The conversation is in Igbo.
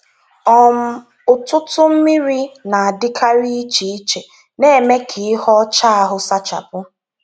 um Ụtụtụ mmiri na-adịkarị iche iche, na-eme ka ihe ọcha ahụ sachapụ.